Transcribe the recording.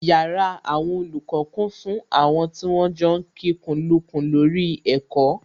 Yàrá àwọn olùkọ́ kún fún àwọn tí wọ́n ń jọ kikùnlukùn lórí ẹ̀kọ́